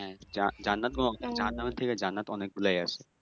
হ্যাঁ জান্নাত গুলো জাহান্নাম এর থেকে জান্নাত অনেক গুলই আছে